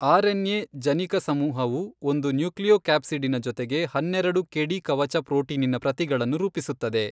RNA ಜನಿಕ ಸಮೂಹವು ಒಂದು ನ್ಯೂಕ್ಲಿಯೊ ಕ್ಯಾಪ್ಸಿಡಿನ ಜೊತೆಗೆ ಹನ್ನೆರೆಡು ಕೆಡಿ ಕವಚ ಪ್ರೊಟೀನಿನ ಪ್ರತಿಗಳನ್ನು ರೂಪಿಸುತ್ತದೆ.